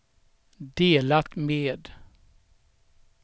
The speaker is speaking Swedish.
delat med